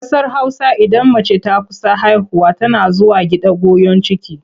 A ƙasar Hausa idan mace ta kusa haihuwa tana zuwa gida goyon ciki.